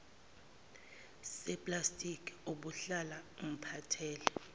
seplastiki obuhlala umphathele